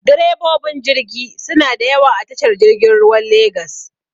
Direbobin jirgi suna da yawa a tashar jirgin ruwan legas.